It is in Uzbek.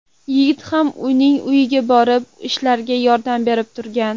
Yigit ham uning uyiga borib, ishlariga yordam berib turgan.